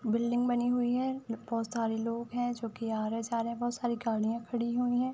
Building बनी हुई है। बहोत सारे लोग हैं जो कि आ रहे हैं जा रहे हैं। बहोत सारी गाड़ियां खड़ी हुई है।